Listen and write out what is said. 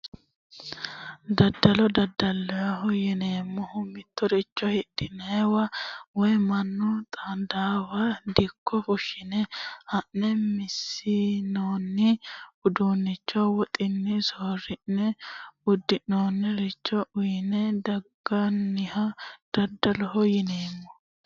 Daddalo daddaloho yineemmohu mittoricho hirranniwa woyi mannu xaadannowa dikko fushshine haa'ne massinoonni uduunnicho woxunni soorri'ne uduunnicho uyine danganniha daddaloho yineemmo